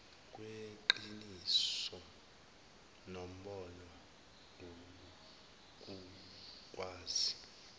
kweqiniso nombono ukukwazi